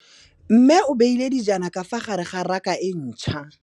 Mmê o beile dijana ka fa gare ga raka e ntšha.